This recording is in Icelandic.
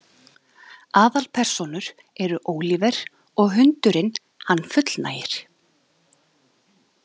Aðalpersónur eru Óliver og hundurinn hann fullnægir.